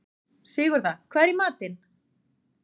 Sigurða, hvað er í matinn?